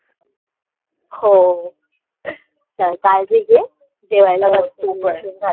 हो चल काळजी घे जेवायला बसते उशीर झालाय